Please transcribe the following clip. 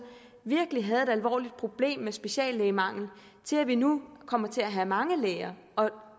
virkelig at have et alvorligt problem med speciallægemangel til at vi nu kommer til at have mange læger og